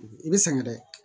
I bɛ sɛgɛn dɛ